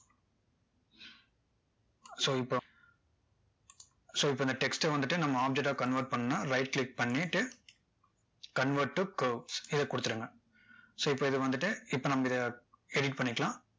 so இப்போ so இப்போ இந்த text ட வந்துட்டு நம்ம object டா convert பண்ணனும்னா right click பண்ணிட்டு convert to curve இதை கொடுத்துருங்க so இப்போ இதை வந்துட்டு இப்போ நம்ம இதை edit பண்ணிக்கலாம்